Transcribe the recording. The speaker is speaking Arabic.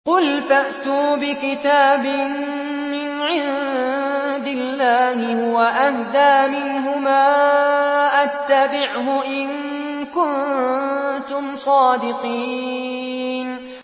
قُلْ فَأْتُوا بِكِتَابٍ مِّنْ عِندِ اللَّهِ هُوَ أَهْدَىٰ مِنْهُمَا أَتَّبِعْهُ إِن كُنتُمْ صَادِقِينَ